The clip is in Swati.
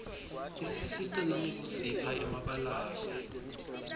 isisita nangekusipha emabalave